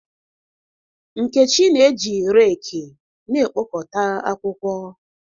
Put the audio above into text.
Nkechi na-eji rekị na-ekpokọta akwụkwọ.